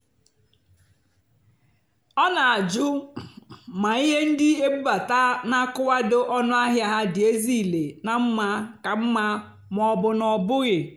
ọ́ nà-àjụ́ mà íhé ndí ébúbátá nà-ákùwádò ónú àhịá há dì ézílé nà mmá kà mmá mà ọ́ bụ́ ná ọ́ bụ́ghị́.